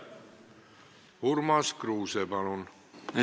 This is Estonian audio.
Urmas Kruuse, palun!